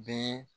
Bɛɛ